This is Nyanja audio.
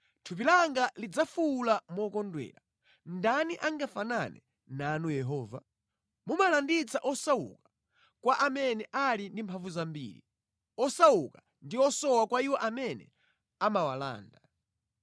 Thupi langa lidzafuwula mokondwera, “Ndani angafanane nanu Yehova? Mumalanditsa osauka kwa amene ali ndi mphamvu zambiri, osauka ndi osowa kwa iwo amene amawalanda.”